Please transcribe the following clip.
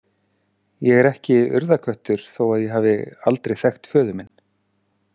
Ég er ekki Urðarköttur þó að ég hafi aldrei þekkt föður minn.